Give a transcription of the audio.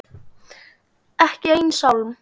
Ekki einn sálm.